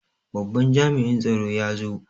Babban jami'in tsaro ya zo.